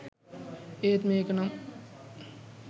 ඒත් මේක නම්